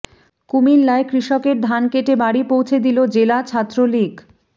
কুমিল্লায় কৃষকের ধান কেটে বাড়ি পৌঁছে দিলো জেলা ছাত্রলীগ